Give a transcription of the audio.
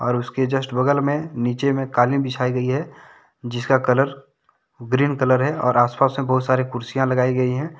और उसके जस्ट बगल में नीचे में कालीन बिछाई गई है जिसका कलर ग्रीन कलर है और आसपास मे बहुत सारे कुर्सियां लगाई गई हैं।